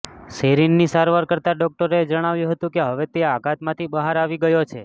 સેરિનની સારવાર કરતાં ડોકટરોએ જણાવ્યું હતું કે હવે તે આઘાતમાંથી બહાર આવી ગયો છે